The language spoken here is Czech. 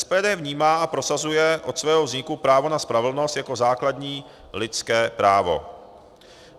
SPD vnímá a prosazuje od svého vzniku právo na spravedlnost jako základní lidské právo.